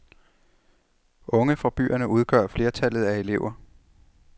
Unge fra byerne udgør flertallet af elever.